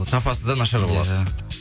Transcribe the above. сапасы да нашар болады иә